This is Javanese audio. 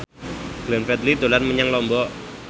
Glenn Fredly dolan menyang Lombok